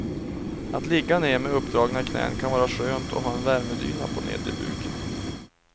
Att ligga ned med uppdragna knän kan vara skönt och ha en värmedyna på nedre buken.